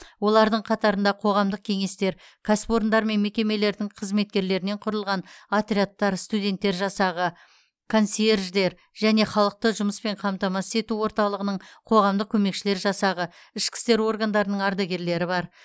олардың қатарында қоғамдық кеңестер кәсіпорындармен мекемелердің қызметкерлерінен құрылған отрядтар студенттер жасағы консьерждер және халықты жұмыспен қамтамасыз ету орталығының қоғамдық көмекшілер жасағы ішкі істер органдарының ардагерлері бар